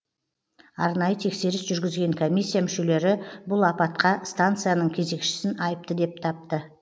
арнайы тексеріс жүргізген комиссия мүшелері бұл апатқа станцияның кезекшісін айыпты деп тапты